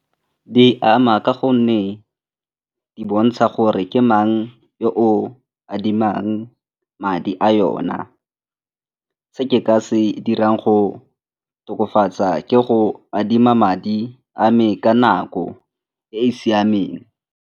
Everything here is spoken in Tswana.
Di ama ka gonne di bontsha gore ke mang e o adimang madi a yona, se ke ka se dirang go tokafatsa ke go adima madi a me ka nako e e siameng.